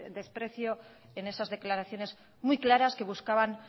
desprecio en esas declaraciones muy claras que buscaban